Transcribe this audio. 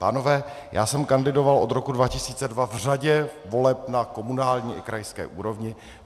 Pánové, já jsem kandidovat od roku 2002 v řadě voleb na komunální i krajské úrovni.